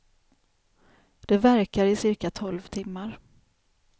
Det verkar i cirka tolv timmar.